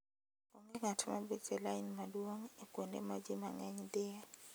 Onge ng'at ma bet e lain maduong' e kuonde ma ji mang'eny dhiye.